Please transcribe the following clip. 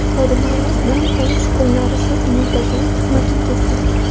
Xodimlarimiz dam olish kunlarisiz muntazam xizmatingizda!